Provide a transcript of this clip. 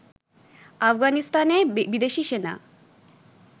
আফগানিস্তানে বিদেশি সেনা